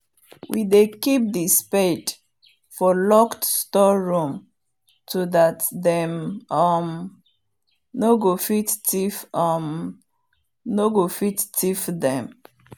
we dey keep the spade for locked store room to that them um nor go fit thief um them